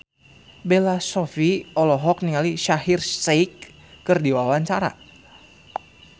Bella Shofie olohok ningali Shaheer Sheikh keur diwawancara